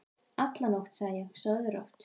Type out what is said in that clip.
alla nótt, og ég sagði: Sofðu rótt.